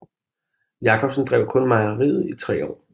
Jacobsen drev kun mejeriet i tre år